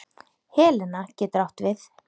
Helena getur átt við